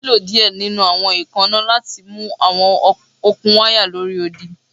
O nilo diẹ ninu awọn eekanna lati mu awọn okun waya lori odi